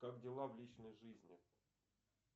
как дела в личной жизни